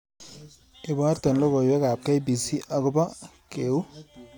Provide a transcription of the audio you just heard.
Iborte logoywekab k.b.c agoba keuu